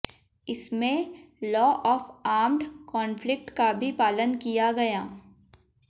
इसमें law of armed conflict का भी पालन किया गया